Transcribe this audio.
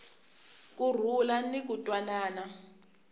ku rhula ni ku twanana